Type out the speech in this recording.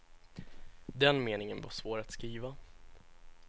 Den meningen var svår att skriva.